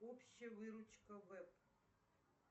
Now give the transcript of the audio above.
общая выручка вэб